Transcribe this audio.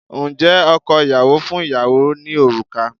Ǹjẹ́ ọkọ ìyàwó fún ìyàwó ní òrùka?